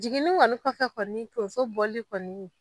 Jigin kɔni kɔfɛ kɔni tonso bɔli kɔni